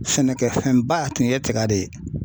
Sɛnɛkɛfɛnba tun ye tiga de ye.